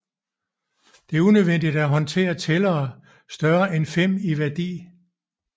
Det er unødvendigt at håndtere tællere større end fem i værdi